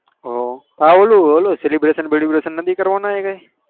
હ ઓલું celebration નથી કરવાના એકે